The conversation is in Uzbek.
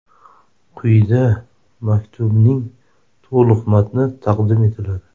Quyida maktubning to‘liq matni taqdim etiladi.